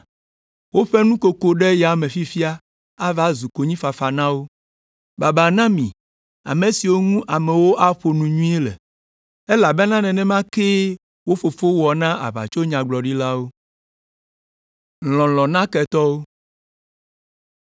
Woƒe nukoko ɖe yame fifia ava zu konyifafa na wo. Babaa na mi ame siwo ŋu amewo aƒo nu nyui le, elabena nenema kee wo fofowo wɔ na aʋatsonyagblɔɖilawo.